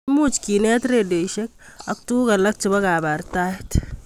Imuch kenet redioisiek ak tuguk alak chebo kabartaet